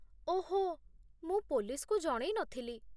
ଓହୋ, ମୁଁ ପୋଲିସ୍‌କୁ ଜଣେଇନଥିଲି ।